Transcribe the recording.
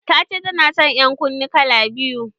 Ta ce ta nason ƴan kunne kala biyu.